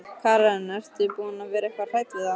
Karen: Ert þú búin að vera eitthvað hrædd við það?